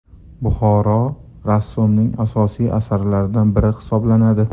Buxoro” rassomning asosiy asarlaridan biri hisoblanadi.